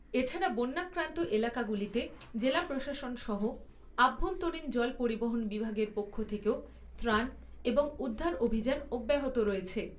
এছাড়া বন্যাক্রান্ত এলাকাগুলিতে জেলা প্রশাসন সহ আভ্যন্তরীণ জল পরিবহন বিভাগের পক্ষ থেকেও ত্রাণ এবং উদ্ধার অভিযান অব্যাহত রয়েছে।